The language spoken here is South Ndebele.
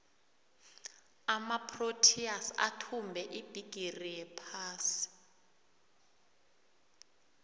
amaproteas athumbe ibhigiri yephasi